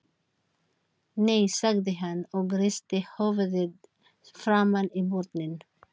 Nei, sagði hann og hristi höfuðið framan í börnin.